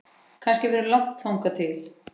Kannski verður langt þangað til